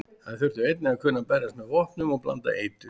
Þær þurftu einnig að kunna berjast með vopnum og blanda eitur.